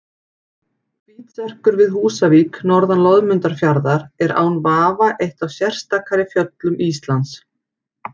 Hvítserkur við Húsavík norðan Loðmundarfjarðar er án vafa eitt af sérstakari fjöllum Íslands.